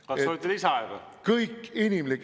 Kas soovite lisaaega?